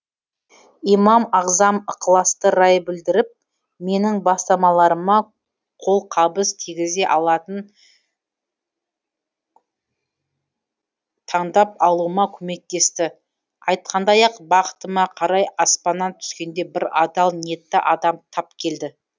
имам ағзам ықыласты рай білдіріп менің бастамаларыма қолқабыс тигізе алатын таңдап алуыма көмектесті айтқандай ақ бақытыма қарай аспаннан түскендей бір адал ниетті адам тап келді